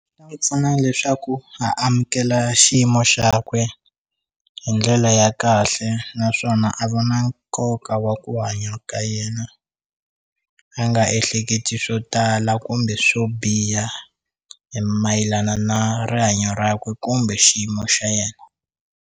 Ntsena leswaku a amukela xiyimo xakwe hi ndlela ya kahle naswona a vo na nkoka wa ku hanya ka yena a nga ehleketi swo tala kumbe swo biha hi mayelana na rihanyo rakwe kumbe xiyimo xa yena.